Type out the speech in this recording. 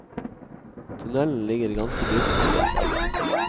Tunnelen ligger ganske dypt nede i fjellet.